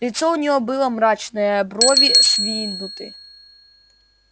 лицо у него было мрачное брови сдвинуты